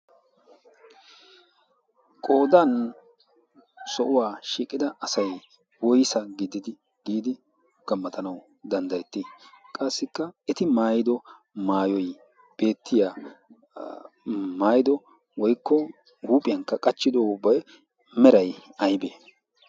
qoodan sohuwaa shiiqida asai woisa gididi giidi gammatanau danddayetti? qassikka eti maayido maayoi beettiya maaido woikko huuphiyaankka qachchido ubbai merai aibee?